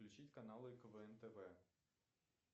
включить каналы квн тв